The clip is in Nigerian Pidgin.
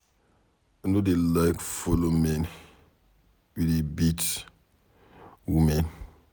I no dey like follow man wey dey beat woman